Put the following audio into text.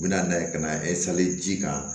U bɛ na n'a ye ka na ji kan